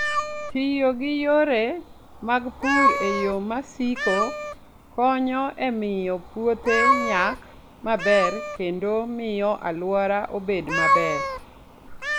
Tiyo gi yore mag pur e yo ma siko konyo e miyo puothe nyak maber kendo miyo alwora obed maber.